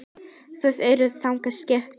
Þau eru þannig skipuð.